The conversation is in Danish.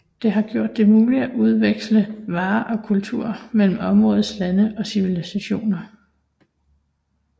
Det har gjort det muligt at udveksle varer og kultur mellem områdets lande og civilisationer